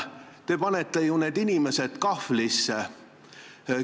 Te panete need inimesed kahvlisse.